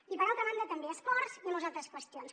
i per altra banda també a esports i a moltes altres qüestions